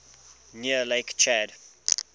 near lake chad